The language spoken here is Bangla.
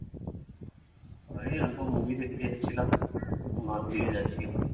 আরে movie দেখতে এসেছিলম, ঘর দিয়ে যাচি এখন